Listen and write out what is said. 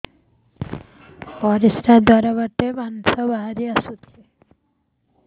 ପରିଶ୍ରା ଦ୍ୱାର ବାଟେ ମାଂସ ବାହାରି ଆସୁଛି